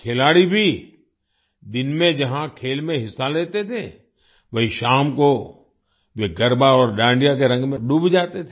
खिलाड़ी भी दिन में जहाँ खेल में हिस्सा लेते थे वहीं शाम को वे गरबा और डांडिया के रंग में डूब जाते थे